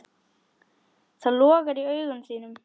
Það logar í augum þínum.